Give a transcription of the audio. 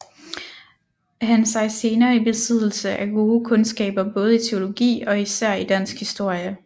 Han sig senere i besiddelse af gode kundskaber både i teologi og især i dansk historie